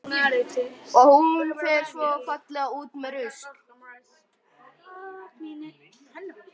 Og hún fer svo fallega út með rusl.